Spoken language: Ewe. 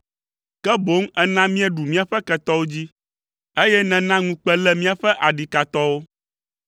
ke boŋ èna míeɖu míaƒe ketɔwo dzi, eye nèna ŋukpe lé míaƒe adikatɔwo.